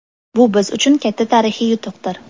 Bu biz uchun katta tarixiy yutuqdir.